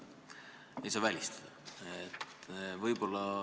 Seda ei saa välistada.